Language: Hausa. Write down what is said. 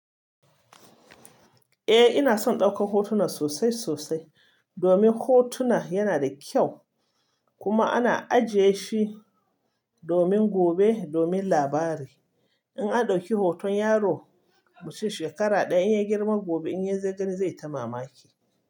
Eh ina son ɗaukar hotuna sosai sosai domin hotuna yana da kyau kuma ana ajiye shi domin gobe, domin labari. In an ɗauki hoton yaro, muce shekara ɗaya in ya girma gobe in ya zo ya gani zai ta mamaki.